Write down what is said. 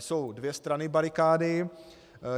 Jsou dvě strany barikády.